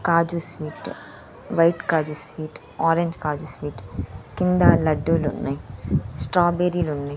కాజు sweet white కాజు sweet orange కాజు sweet కింద లడ్డులు ఉన్నయ్ స్ట్రాబేరీ లు ఉన్నయ్.